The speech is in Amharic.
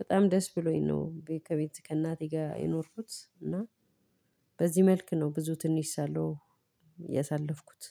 በጣም ደስ ብሎኝ ነው ከቤት ከእናቴ ጋር የኖርኩት። እና በዚህ መልክ ነው ብዙ ትንሽ ሳለሁ ያሳለፍኩት